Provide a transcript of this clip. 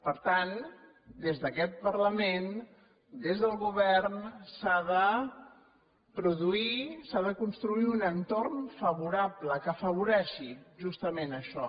per tant des d’aquest parlament des del govern s’ha de produir s’ha de construir un entorn favorable que afavoreixi justament això